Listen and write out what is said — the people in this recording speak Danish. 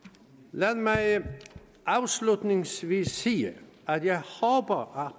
lad mig afslutningsvis sige at jeg håber